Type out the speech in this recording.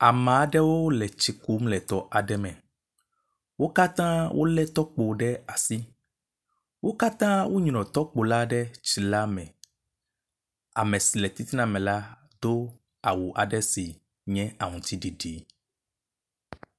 Ame aɖewo le tsi kum le tɔ aɖe me. Wo katã wo le tɔkpo ɖe asi. Wo katã wonyrɔ tɔkpo la ɖe tsi la me. Ame si le titina me la do awu aɖe si nye aŋtsiɖiɖi.